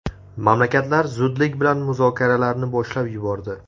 Mamlakatlar zudlik bilan muzokaralarni boshlab yubordi.